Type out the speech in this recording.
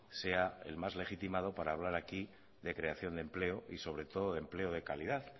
sea el más legitimado para hablar aquí de creación de empleo y sobre todo de empleo de calidad